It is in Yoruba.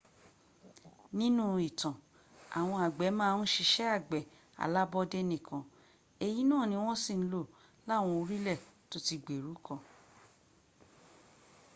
nínú ìtàn àwọn àgbẹ̀ ma ń siṣẹ́ àgbẹ̀ alábọ́dé nìkan èyí náà ni wọ́n sì ń lò láwọn orílẹ̀ tóti gbèrú kan